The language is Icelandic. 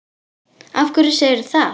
Af hverju segirðu það?